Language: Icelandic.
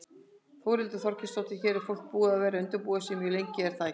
Þórhildur Þorkelsdóttir: Hér er fólk búið að vera undirbúa sig mjög lengi er það ekki?